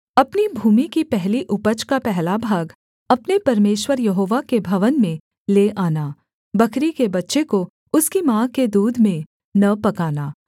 अपनी भूमि की पहली उपज का पहला भाग अपने परमेश्वर यहोवा के भवन में ले आना बकरी के बच्चे को उसकी माँ के दूध में न पकाना